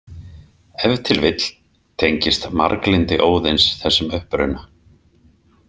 Ef til vill tengist marglyndi Óðins þessum uppruna.